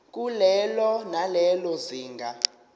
kulelo nalelo zinga